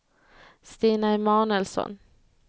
Stina Emanuelsson